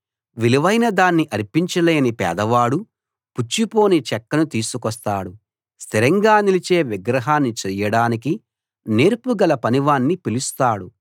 విలువైన దాన్ని అర్పించలేని పేదవాడు పుచ్చిపోని చెక్కను తీసుకొస్తాడు స్థిరంగా నిలిచే విగ్రహాన్ని చేయడానికి నేర్పుగల పనివాణ్ణి పిలుస్తాడు